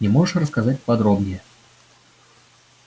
не можешь рассказать подробнее